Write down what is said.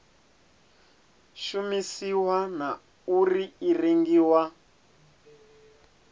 shumisiwa na uri i rengiwa